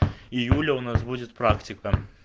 июля у нас будет практика